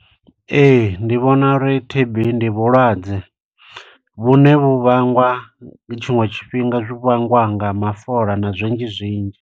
Ee, ndi vhona uri T_B, ndi vhulwadze vhune vhu vhangwa, tshiṅwe tshifhinga zwi vhangwa nga mafola na zwinzhi zwinzhi.